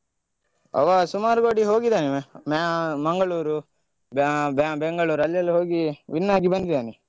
ಅವ ಸುಮಾರು ಕೊಡೆ ಹೋಗಿದ್ದಾನೆ ಅವ ಮ್ಯಾ~ ಮಂಗಳೂರು, ಬ್ಯಾ~ ಬೆಂಗಳೂರು ಅಲ್ಲಿ ಎಲ್ಲಾ ಹೋಗಿ win ಆಗಿ ಬಂದ್ದಿದ್ದಾನೆ.